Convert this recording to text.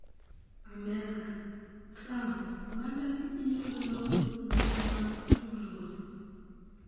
Amerka: Trump oganda ni biro loro mbui mag tudruok